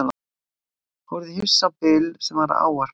Horfði hissa á Bill sem var að ávarpa mig.